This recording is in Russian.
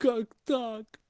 как так